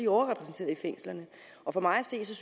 overrepræsenteret i fængslerne og for mig at se er